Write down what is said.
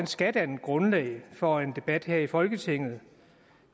skal danne grundlag for en debat her i folketinget